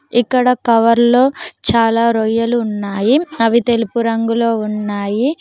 ఇక్కడ కవర్లో చాలా రొయ్యలు ఉన్నాయి అవి తెలుపు రంగులో ఉన్నాయి.